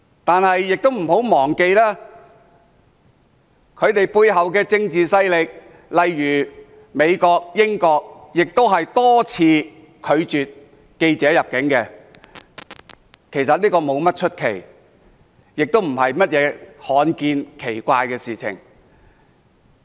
但大家不要忘記，他們背後的政治勢力，美國、英國也多次拒絕記者入境，其實不足為奇，也並非甚麼罕見或奇怪的事。